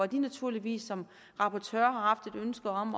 de naturligvis som rapporteurs har haft et ønske om